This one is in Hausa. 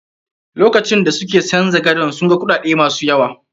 Lokacin da suke canja gadon, sun ga kuɗaɗe ma su yaw.